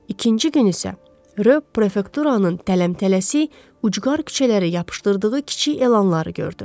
İkinci gün isə, Ryo prefekturanın tələs-tələsik ucqar küçələrə yapışdırdığı kiçik elanları gördü.